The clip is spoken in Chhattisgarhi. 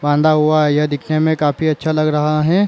बांधा हुआ है यह दिखने मे काफी अच्छा लग रहा है।